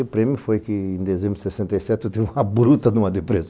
E o prêmio foi que, em dezembro de sessenta e sete, eu tive uma bruta de uma depressão.